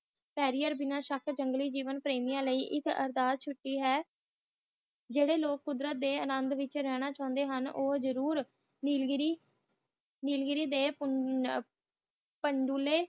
ਪ੍ਰਯਾਰ ਜੰਗਲ ਪ੍ਰੇਮੀਆਂ ਲਾਇ ਇਕ ਅਰਦਾਸ ਛੁਟੀ ਹੈ ਜੋ ਲੋਕ ਕੁਦਰਤ ਡੇ ਅਨਦ ਵਿਚ ਰਹਿਣਾ ਕਹਾਣੀ ਹੁਣ ਉਹ ਜੂਰੁ ਨੀਲਗਿਰੀ ਡੇ ਪਾਂਡੂ